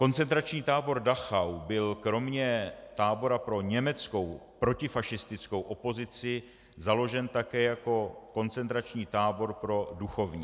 Koncentrační tábor Dachau byl kromě tábora pro německou protifašistickou opozici založen také jako koncentrační tábor pro duchovní.